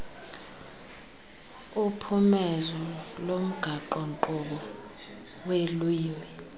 uphumezo lomgaqonkqubo weelwimi